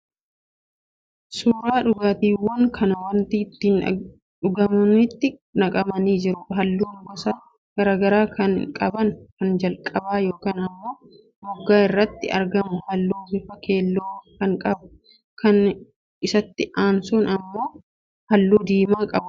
Suuraa dhugaatiiwwanii kan wanta ittiin dhugamanitti naqamanii jiran, halluu gosa garaagaraa kan qaban, kan jalqaba yookaan ammoo moggaa irratti argamu halluu bifa keelloo kan qabu, kan isatti aansuun jiran ammoo halluu diimaa keessatti gurraacha ta'e kan qaban.